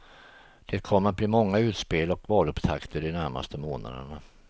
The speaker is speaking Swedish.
Det kommer att bli många utspel och valupptakter de närmaste månaderna.